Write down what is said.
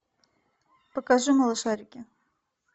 покажи малышарики